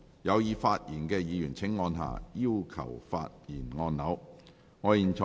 有意發言的議員請按下"要求發言"按鈕。